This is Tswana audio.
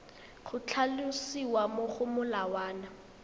go tlhalosiwa mo go molawana